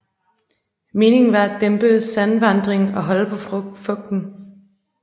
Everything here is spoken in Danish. Meningen var at dæmpe sandvandringen og holde på fugten